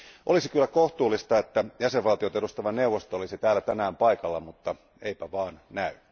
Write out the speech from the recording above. Olisi kyllä kohtuullista, että jäsenvaltioita edustava neuvosto olisi täällä tänään paikalla, mutta eipä vaan näy.